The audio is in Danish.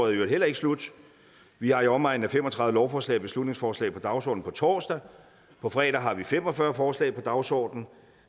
i øvrigt heller ikke slut vi har i omegnen af fem og tredive lovforslag og beslutningsforslag på dagsordenen på torsdag og på fredag har vi fem og fyrre forslag på dagsordenen